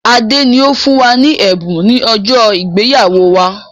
Adé ni ó fún wa ní ẹ̀bùn ni ọjọ́ ìgbéyàwó wá.